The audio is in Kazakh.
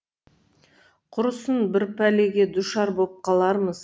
құрысын бір пәлеге душар боп қалармыз